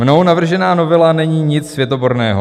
Mnou navržená novela není nic světoborného.